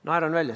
Naeran välja.